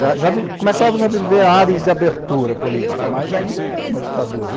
Já começávamos a viver áreas de abertura política, mas ainda era uma ditadura em